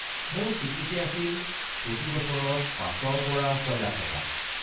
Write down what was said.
মোৰ চি.টি.চি. আছিল প্ৰতি বছৰত ৫-ৰ পৰা ৬ লাখ টকা।